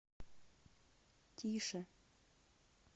тише